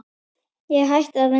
Ég hætti að vinna í